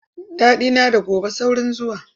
Daɗina da gobe saurin zuwa.